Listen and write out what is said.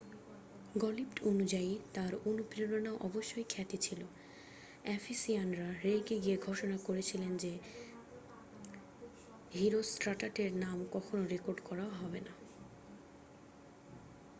গল্প্টি অনুযায়ী তাঁর অনুপ্রেরণা অবশ্যই খ্যাতি ছিল এফিসিয়ানরা রেগে গিয়ে ঘোষণা করেছিল যে হিরোষ্ট্রাটাসের নাম কখনও রেকর্ড করা হবে না